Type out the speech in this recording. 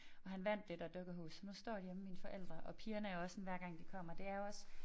Og han vandt det der dukkehus så nu står det hjemme ved mine forældre og pigerne er også sådan hver gang de kommer det er også